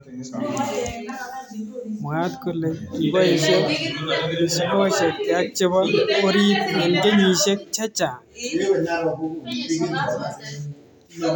Mwaat kole kiboishe misigoshek keak chebo orit eng kenyishiek chechang.